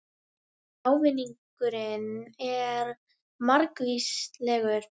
Ávinningurinn er margvíslegur